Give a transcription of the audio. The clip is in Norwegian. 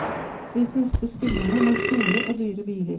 De fleste spillerne har store og dyre biler.